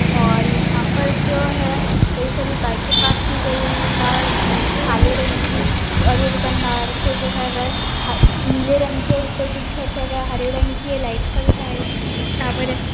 और यहाँ पर जो है कई सारी बाइके पार्क की गयी हुई है बाहर अ काले रंग की और ये दुकानदार से जो है वे ह नीले रंग की और ऊपर के जो छत है वे हरे रंग की है लाइट का भी तार है टॉवर है।